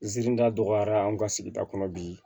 N zida dɔgɔyara an ka sigida kɔnɔ bi